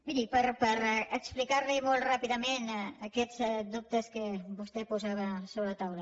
miri per explicar li molt ràpidament aquests dubtes que vostè posava sobre la taula